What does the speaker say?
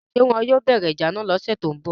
ṣé wọn yóò bẹ̀rẹ̀ ìjà náà lọ́sẹ̀ tó ń bọ̀